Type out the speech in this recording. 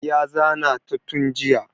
Ya zana ta tun jiya